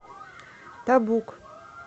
табук